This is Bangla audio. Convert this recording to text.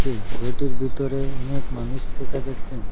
এই ঘরটির ভিতরে অনেক মানুষ দেখা যাচ্ছেন।